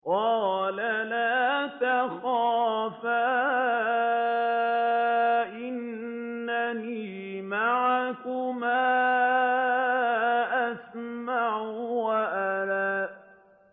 قَالَ لَا تَخَافَا ۖ إِنَّنِي مَعَكُمَا أَسْمَعُ وَأَرَىٰ